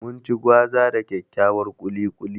Mun ci gwaza da dakyakkyar ƙuli ƙuli.